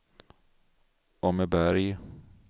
Åmmeberg